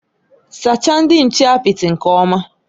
Sachaa ndị nche apịtị nke ọma!